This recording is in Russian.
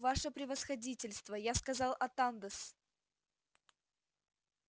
ваше превосходительство я сказал атанде-с